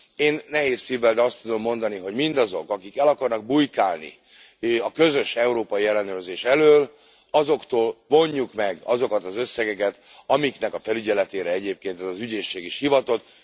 Én nehéz szívvel, de azt tudom mondani, hogy mindazok, akik el akarnak bujkálni a közös európai ellenőrzés elől, azoktól vonjuk meg azokat az összegeket, amiknek a felügyeletére egyébként ez az ügyészség is hivatott.